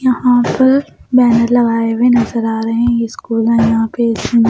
यहाँ पर बैनर लगाए हुए नजर आ रहे हैं ये स्कूल है यहाँ पे इसमें --